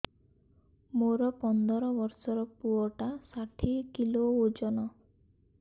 ମୋର ପନ୍ଦର ଵର୍ଷର ପୁଅ ଟା ଷାଠିଏ କିଲୋ ଅଜନ